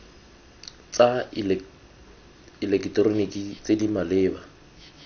tsa eleketeroniki tse di maleba